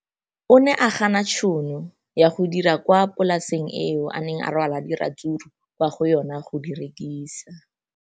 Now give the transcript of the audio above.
O ne a gana tšhono ya go dira kwa polaseng eo a neng rwala diratsuru kwa go yona go di rekisa.